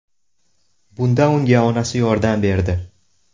Bunda unga onasi yordam berdi.